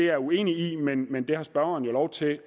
er uenig i det men det har spørgeren jo lov til at